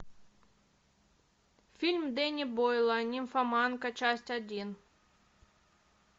фильм дэнни бойла нимфоманка часть один